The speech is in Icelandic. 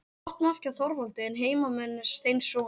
Flott mark hjá Þorvaldi en heimamenn steinsofandi.